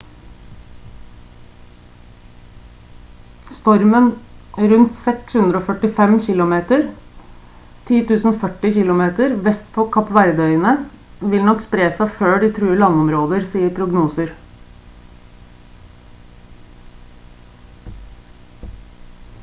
stormen rundt 645 kilometer 1040 kilometer vest for kapp verde-øyene vil nok spre seg før de truer landområder sier prognoser